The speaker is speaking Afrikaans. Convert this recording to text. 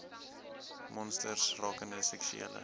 monsters rakende seksuele